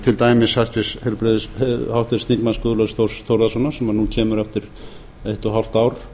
til dæmis háttvirtur þingmaður guðlaugs þórs þórðarsonar sem nú kemur eftir eitt og hálft ár